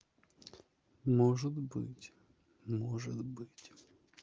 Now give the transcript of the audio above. может быть может быть